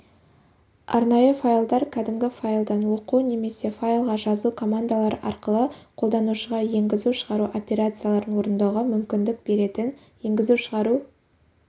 арнайы файлдар кәдімгі файлдан оқу немесе файлға жазу командалары арқылы қолданушыға енгізу-шығару операцияларын орындауға мүмкіндік беретін енгізу-шығару